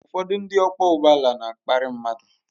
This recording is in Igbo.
Ụfọdụ ndị ọkwọ ụgbọala na-akparị mmadụ.